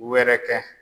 Wɛrɛ kɛ